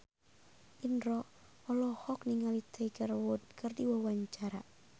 Indro olohok ningali Tiger Wood keur diwawancara